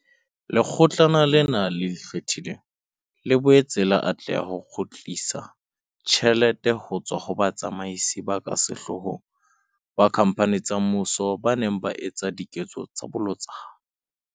Lekgotlana lena le Ikgethileng, le boetse la atleha ho kgutlisa tjhelete ho tswa ho batsamaisi ba ka sehloohong ba dikhamphane tsa mmuso ba neng ba etsa diketso tsa bolotsana.